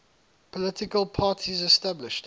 political parties established